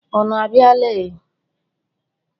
Ụnụ a biala e?